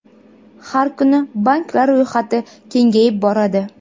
Har kuni banklar ro‘yxati kengayib boradi.